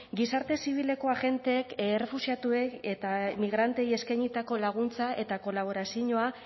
gizarte zibileko agenteek errefuxiatuei eta migranteei eskainitako laguntza eta kolaboraziñoa